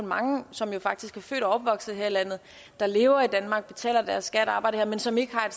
mange som faktisk er født og opvokset her i landet der lever i danmark betaler deres skat og arbejder her men som ikke har